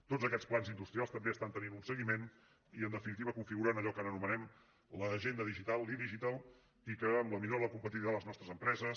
tots aquests plans industrials també estan tenint un seguiment i en definitiva configuren allò que anomenem l’agenda digital l’idigital i que amb la millora de la competitivitat de les nostres empreses